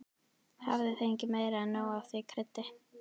Hafði fengið meira en nóg af því kryddi.